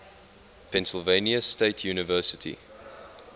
pennsylvania state university